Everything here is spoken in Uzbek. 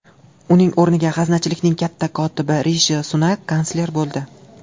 Uning o‘rniga g‘aznachilikning katta kotibi Rishi Sunak kansler bo‘ldi.